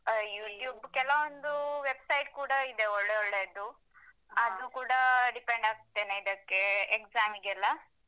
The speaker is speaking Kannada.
ಹಾ YouTube ಕೆಲವೊಂದು website ಕೂಡ ಇದೆ ಒಳ್ಳೆ ಒಳ್ಳೇದು. ಅದು ಕೂಡ depend ಆಗ್ತೇನೆ ಅದಕ್ಕೆ exam ಗೆಲ್ಲಾ ಒಳ್ಳೇದಾಗ್ತದೆ.